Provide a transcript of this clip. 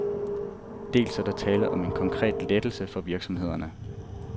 Dels er der tale om en konkret lettelse for virksomhederne.